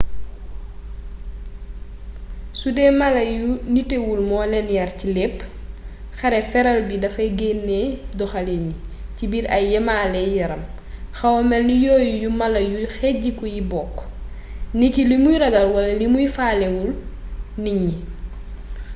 sudee mala yu nitewul moo leen yar ci lépp xale feral bi dafay gennee doxaliin yi ci biir ay yemaley yaram xawa melni yooyu yu mala yu xejjiku yi bokk niki limuy ragal wala limu faalewul nit ñi